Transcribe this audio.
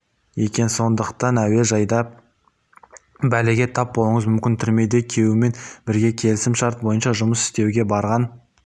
екен сондықтан әуежайда бәлеге тап болуыңыз мүмкін түрмеде күйеуімен бірге келісім-шарт бойынша жұмыс істеуге барған